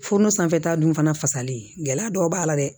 Foɔnɔ sanfɛta dun fana fasalen gɛlɛya dɔw b'a la dɛ